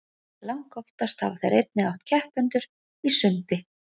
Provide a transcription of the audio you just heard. langoftast hafa þeir einnig átt keppendur í sundi